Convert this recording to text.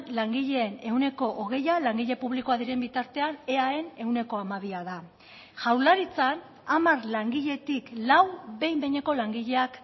langileen ehuneko hogeia langile publikoa diren bitartean eaen ehuneko hamabia da jaurlaritzan hamar langiletik lau behin behineko langileak